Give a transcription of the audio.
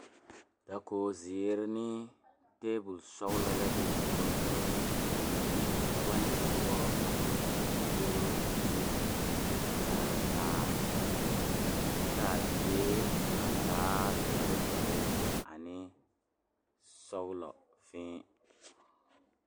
Dakogizeere ne tabolɔsɔglɔ la be diguroŋ guroŋ kaŋ poɔ ka dɔba ne pɔgeba a zeŋ a dakogro zu a kyaare taa kyɛ k,a die a taa dɔre dɔre ane sɔglɔ fēē.